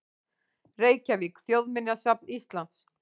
Reykjavík: Þjóðminjasafn Íslands.